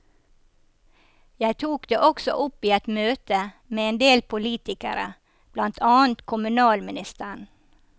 Jeg tok det også opp i et møte med en del politikere, blant annet kommunalministeren.